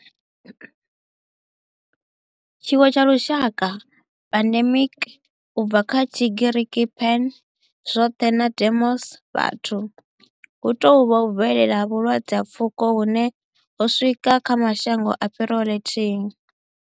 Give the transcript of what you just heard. Tshiwo tsha lushaka pandemic, u bva kha Tshigiriki pan, zwothe na demos, vhathu, hu tou vha u bvelela ha vhulwadze ha pfuko hune ho swika kha mashango a fhiraho lithihi.